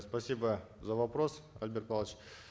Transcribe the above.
спасибо за вопрос альберт павлович